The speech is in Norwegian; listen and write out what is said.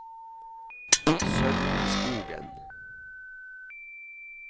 Sølvi Skogen